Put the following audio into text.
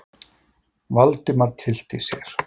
Valdimar tyllti sér.